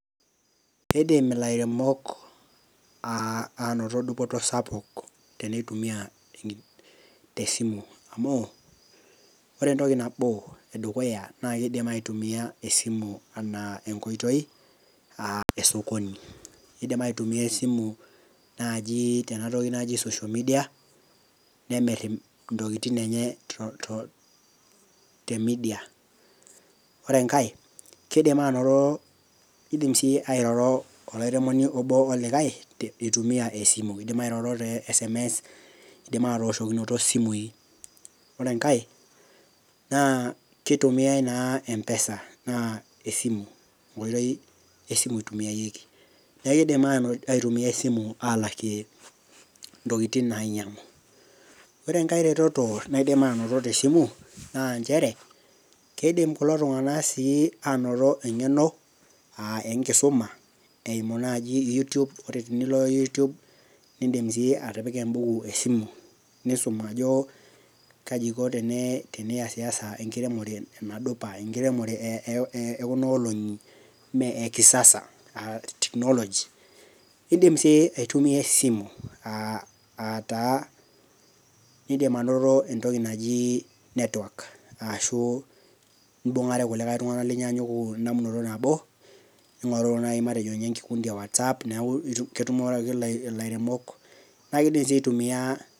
Keidim ilaremok anoto edupoto sapuk teneitumiya esimu amuu ore entoki nabo edukuya, naa keidim aitumiya esimu anaa enkoitoi esokoni, eidim aitumiyaa esimu naaji tenatoki naji social media nemir intokitin enye temidia. Ore enkae keidim anoto, keidim sii airoro ilairemoni obo olikae eitumiya esimu, eidim airoro te sms eidim atooshokinoto esimui, ore enkae naa keitumiyai naa mpesa naa esimu enkoitoi esimu eitumiayeki, naa keidim aitumiyai esimu alakie ntokitin nainyang'u, ore enkae reteto naidim anoto te esimu naa inchere ,keidim kulo iltungana sii anoto engeno aa enkisuma eimu naaji youtube tenilo youtube niindim sii iyie atipika enpeej esimu, niisum ajo kaji eiko teniyas yas enkiremore nadupa, enkiremore ekuna olong'i, naa ekisasa naa teknoji, eidim sii aitumiya esimu aataa keidim anoto entoki najii network sshu imbung'are ilkulikae tungana le murua nabo, nitumorere naji matejo enkikundi e WhatsApp neaku ketumore ake lairemok naaku keyeu nichi aitumiya.